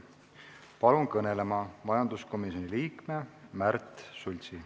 Palun kõnelema majanduskomisjoni liikme Märt Sultsi.